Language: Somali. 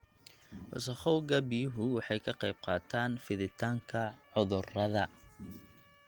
Wasakhowga biyuhu waxay ka qayb qaataan fiditaanka cudurrada.